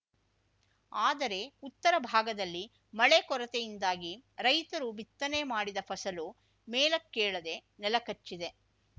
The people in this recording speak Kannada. ಆದರೆ ಉತ್ತರ ಭಾಗದಲ್ಲಿ ಮಳೆ ಕೊರತೆಯಿಂದಾಗಿ ರೈತರು ಬಿತ್ತನೆ ಮಾಡಿದ ಫಸಲು ಮೇಲಕ್ಕೇಳದೆ ನೆಲಕಚ್ಚಿದೆ